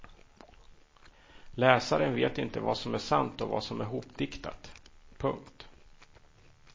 Läsaren vet inte vad som är sant och vad som är hopdiktat. punkt